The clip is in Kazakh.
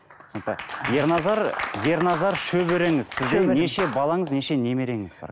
түсінікті ерназар ерназар шөбереңіз сізде неше балаңыз неше немереңіз бар